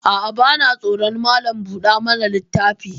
A'a, vana tsoron Malam buɗa mana littafi.